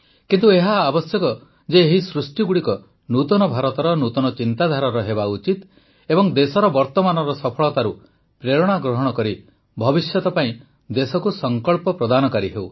କିନ୍ତୁ ଏହା ଆବଶ୍ୟକ ଯେ ଏହି ସୃଷ୍ଟିଗୁଡ଼ିକ ନୂତନ ଭାରତର ନୂତନ ଚିନ୍ତାଧାରାର ହେବା ଉଚିତ ଏବଂ ଦେଶର ବର୍ତ୍ତମାନର ସଫଳତାରୁ ପ୍ରେରଣା ଗ୍ରହଣ କରି ଭବିଷ୍ୟତ ପାଇଁ ଦେଶକୁ ସଂକଳ୍ପ ପ୍ରଦାନକାରୀ ହେଉ